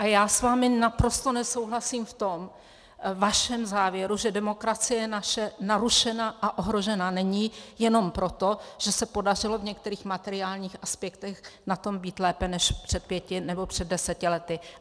A já s vámi naprosto nesouhlasím v tom vašem závěru, že demokracie naše narušena a ohrožena není jenom proto, že se podařilo v některých materiálních aspektech na tom být lépe než před pěti nebo před deseti lety.